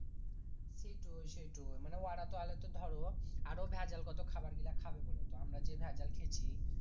সেইটোই সেইটোই মানে ওরা তাহলে তো ধরো আরো ভ্যাজাল কত খাবার গীলা খাবে বোলো তো আমরা যে ভ্যাজাল খেছি